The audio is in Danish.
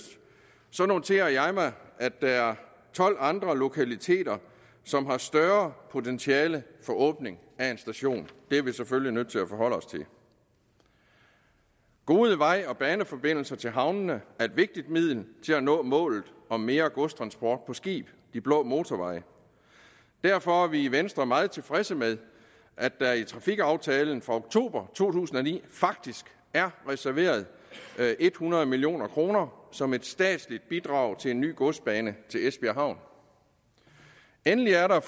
noterer jeg mig at der er tolv andre lokaliteter som har større potentiale for åbning af en station det er vi selvfølgelig nødt til at forholde os til gode veje og baneforbindelser til havnene er et vigtigt middel til at nå målet om mere godstransport på skib de blå motorveje derfor er vi i venstre meget tilfredse med at der i trafikaftalen fra oktober to tusind og ni faktisk er reserveret hundrede million kroner som et statsligt bidrag til en ny godsbane til esbjerg havn endelig er der